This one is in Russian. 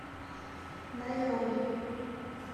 найроби